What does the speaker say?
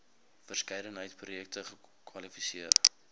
verskeidenheid projekte kwalifiseer